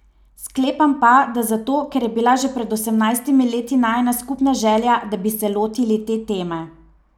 Sklepam pa, da zato, ker je bila že pred osemnajstimi leti najina skupna želja, da bi se lotili te teme.